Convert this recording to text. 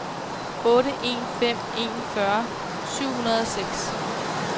otte en fem en fyrre syv hundrede og seks